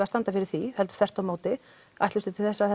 að standa fyrir því þvert á móti ætlumst við til þess að